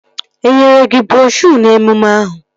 Enyere gị broshuo n'emume ahụ?